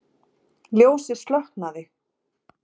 Ljósið slokknaði.